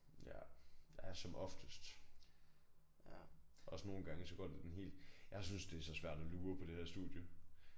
Ja ja som oftest. Også nogle gange så går det den helt jeg synes det så svært at lure på det her studie